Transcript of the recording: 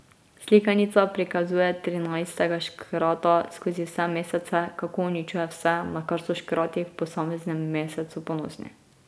Slikanica prikazuje trinajstega škrata skozi vse mesece, kako uničuje vse, na kar so škrati v posameznem mesecu ponosni.